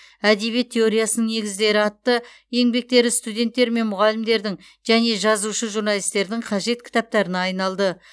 әдебиет теориясының негіздері атты еңбектері студенттер мен мұғалімдердің және жазушы журналистердің қажет кітаптарына айналды